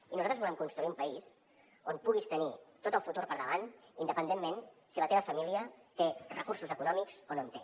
i nosaltres volem construir un país on puguis tenir tot el futur per davant independentment de si la teva família té recursos econòmics o no en té